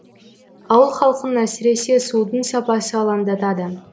ауыл халқын әсіресе судың сапасы алаңдатады